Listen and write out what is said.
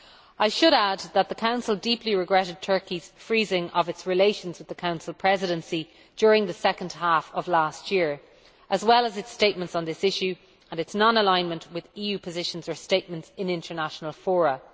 I should add that the Council deeply regretted Turkey's freezing of its relations with the Council Presidency during the second half of last year, as well as its statements on this issue, and its non alignment with EU positions or statements in international forums.